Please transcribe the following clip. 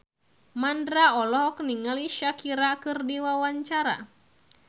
Mandra olohok ningali Shakira keur diwawancara